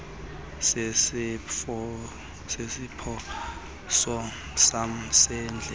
sesiphoso sam sendlela